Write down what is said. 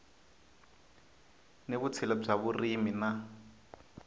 ni vutshila bya vurimi na